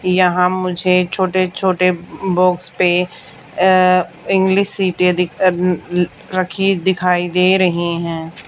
यहां मुझे छोटे छोटे बॉक्स पे अह इंग्लिश सिटे अह रखी दिखाई दे रही है।